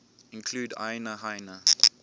include aina haina